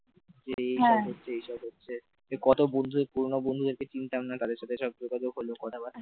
যে হচ্ছে এসব হচ্ছে কত বন্ধুদের পুরনো বন্ধুদের চিনতাম না তাদের সাথে যোগাযোগ হলো